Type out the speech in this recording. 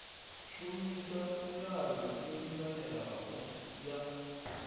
shumisa milayo yo linganelaho ya